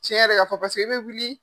Tiɲɛ yɛrɛ k'a fɔ paseke i bɛ wuli